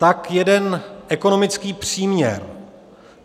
Tak jeden ekonomický příměr.